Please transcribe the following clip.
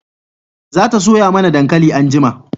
za ta soya mana dankali anjima